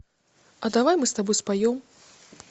а давай мы с тобой споем